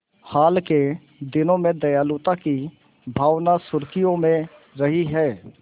हाल के दिनों में दयालुता की भावना सुर्खियों में रही है